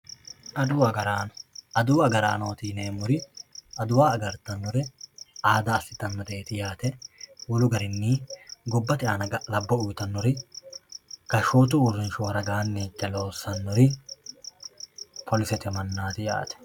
adawu agaraano adawu agaraanooti yineemmori adawa agartannori aada assitannoreeti yaate wolu garinni gobbate aana ga'labbo uyiitannori gashshootu uurrinshuwa ragaanni higge loossannori polisete mannaati yaate.